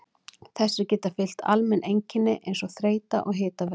Þessu geta fylgt almenn einkenni eins og þreyta og hitavella.